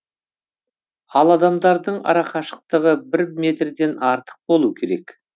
ал адамдардың арақашықтығы бір метрден артық болу керек